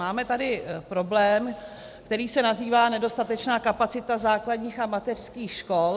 Máme tady problém, který se nazývá nedostatečná kapacita základních a mateřských škol.